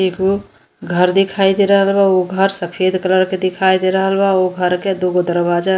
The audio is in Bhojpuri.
एगो घर दिखाई दे रहल बा। उ घर सफेद कलर के दिखाई दे रहल बा। उ घर के दो गो दरवाजा --